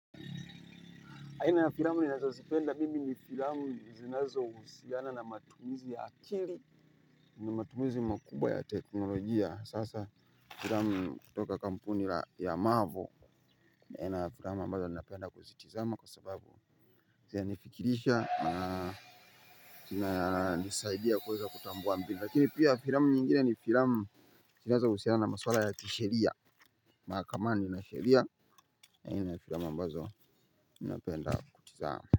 Aina ya filamu ninazazipenda mimi ni filamu zinazo usiana na matumizi akili. Nimatumizi makubwa ya teknolojia sasa filamu kutoka kampuni ya maavo aina ya filamu ambazo ninapenda kuzitizama kwa sababu zianifikirisha na nisaidia kuweza kutambua mbili lakini pia filamu nyingine ni filamu. Zinazo usiana na maswala ya kisheria. Makamani na sheria aina ya filamu ambazo ninapenda kutizama.